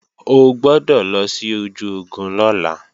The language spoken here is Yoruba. O gbọ́dọ̀ lọ sí ojú ogun lọ́la